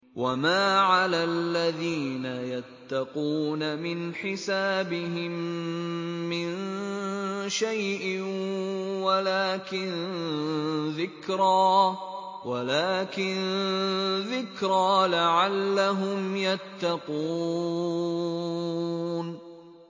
وَمَا عَلَى الَّذِينَ يَتَّقُونَ مِنْ حِسَابِهِم مِّن شَيْءٍ وَلَٰكِن ذِكْرَىٰ لَعَلَّهُمْ يَتَّقُونَ